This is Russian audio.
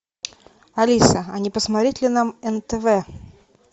алиса а не посмотреть ли нам нтв